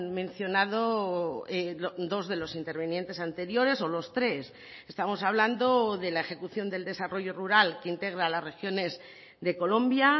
mencionado dos de los intervinientes anteriores o los tres estamos hablando de la ejecución del desarrollo rural que integra las regiones de colombia